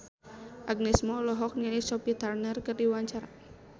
Agnes Mo olohok ningali Sophie Turner keur diwawancara